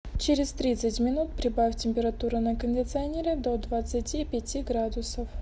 через тридцать минут прибавь температуру на кондиционере до двадцати пяти градусов